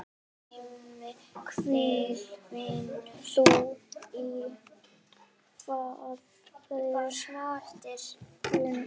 Hvíl þú í friði Finnur.